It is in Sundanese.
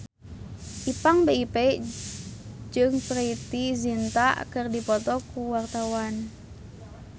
Ipank BIP jeung Preity Zinta keur dipoto ku wartawan